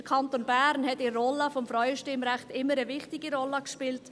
– Der Kanton Bern hat beim Frauenstimmrecht immer eine wichtige Rolle gespielt.